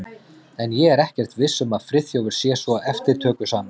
En ég er ekkert viss um að Friðþjófur sé svo eftirtökusamur.